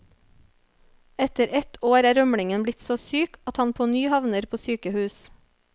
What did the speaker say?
Etter ett år er rømlingen blitt så syk at han på ny havner på sykehus.